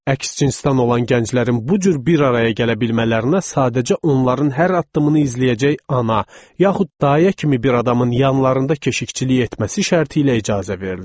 Əks cinsdən olan gənclərin bu cür bir araya gələ bilmələrinə sadəcə onların hər addımını izləyəcək ana, yaxud dayıya kimi bir adamın yanlarında keşikçilik etməsi şərti ilə icazə verilirdi.